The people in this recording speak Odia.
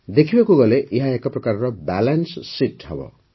ଦେଖିବାକୁ ଗଲେ ଏହା ଏକ ପ୍ରକାର ବାଲାନ୍ସ ଶୀତ୍ ହେବ